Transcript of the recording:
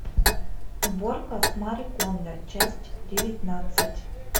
уборка с мари кондо часть девятнадцать